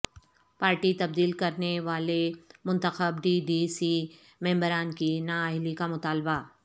party تبدیل کرنے والے منتخب ڈی ڈی سی ممبران کی نااہلی کا مطالبہ